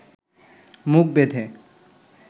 মুখ বেঁধে